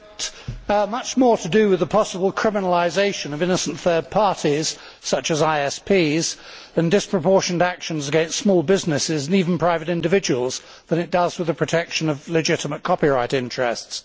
Mr President, this treaty has got much more to do with the possible criminalisation of innocent third parties such as ISPs, and disproportionate actions against small businesses and even private individuals, than it has with the protection of legitimate copyright interests.